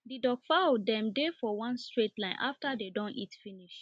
the duck fowl dem dey for one straight line after dem don eat finish